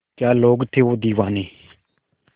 क्या लोग थे वो दीवाने